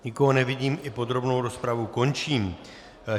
Nikoho nevidím, i podrobnou rozpravu končím.